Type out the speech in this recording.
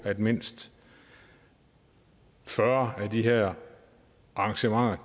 mindst fyrre af de her arrangementer